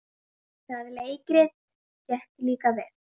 Það leikrit gekk líka vel.